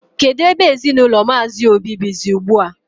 Kedụ ebe ezinụlọ Mmazi Obi bizi ugbua?